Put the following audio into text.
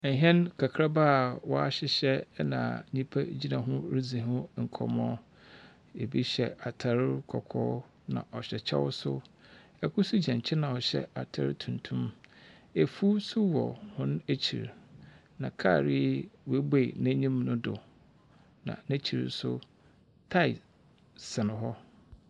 Ɛhɛn kakraba a wɔahyehyɛ na nnipa gyina ho ridzi ho nkɔmmɔ. Ebi hyɛ atar kɔkɔɔ, na ɔhyɛ kyɛw nso. Kor nso gyina nkyɛn a ɔhyɛ atar tuntum. Afuw nso wɔ hɔn ekyir, na kaar yi woebue n'enyim no do, na n'ekyir nso, tae sɛn hɔ.